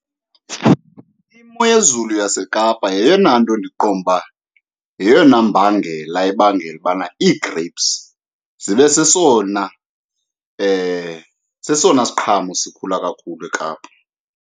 Imo yezulu yaseKapa yeyona nto ndiqonda uba yeyona mbangela ebangela ubana ii-grapes zibe sesona , sesona siqhamo sikhula kakhulu eKapa.